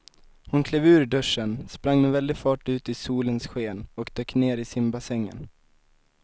Hon klev ur duschen, sprang med väldig fart ut i solens sken och dök ner i simbassängen.